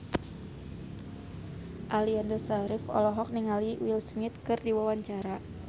Aliando Syarif olohok ningali Will Smith keur diwawancara